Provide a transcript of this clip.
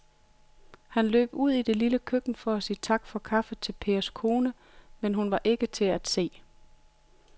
Han løb ud i det lille køkken for at sige tak for kaffe til Pers kone, men hun var ikke til at se.